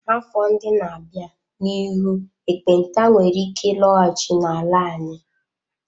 Afọ ndị na-abịa, n'ihu ekpenta nwere ike ịlọghachi n'ala anyị.